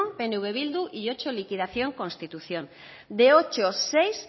pnv bildu y ocho liquidación constitución de ocho seis